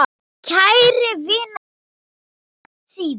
Kæra vina, sjáumst síðar.